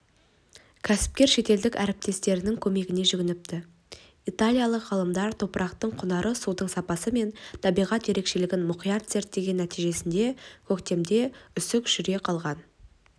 кәсіпкер шетелдік әріптестерінің көмегіне жүгініпті италиялық ғалымдар топырақтың құнары судың сапасы мен табиғат ерекшелігін мұқият зерттеген нәтижесінде көктемде үсік жүре қалған